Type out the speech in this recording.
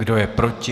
Kdo je proti?